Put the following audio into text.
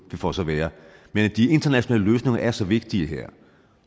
det får så være men de internationale løsninger er så vigtige her